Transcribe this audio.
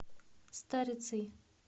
старицей